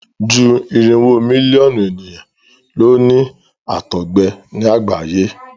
ju irinwo Mílíọ̀nù ènìyàn ló ní àtọgbẹ ní àgbáyé.